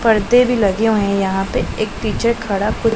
परदे भी लगे हुए हैं यहां पे एक टीचर खड़ा कु--